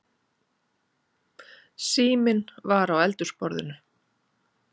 Síminn var á eldhúsborðinu.